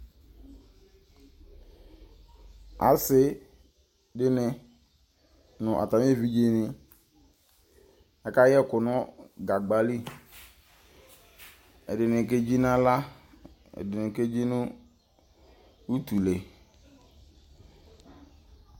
Ase de ne no atame evidze ne aka yɛku no kagba li, Ɛdene kedzi nahla, ɛdene kedzi no utule